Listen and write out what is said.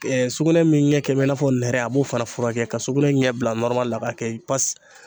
sugunɛ min ɲɛ bɛ i n'a fɔ nɛrɛ a b'o fana furakɛ ka sugunɛ ɲɛ bila la a b'a kɛ